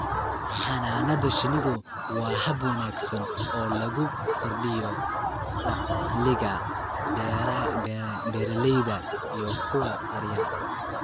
Xannaanada shinnidu waa hab wanaagsan oo lagu kordhiyo dakhliga beeralayda iyo kuwa yaryar.